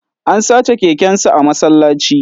An sace kekensa a masallaci